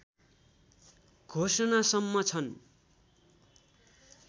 घोषणासम्म छन्